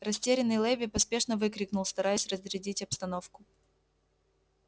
растерянный леви поспешно выкрикнул стараясь разрядить обстановку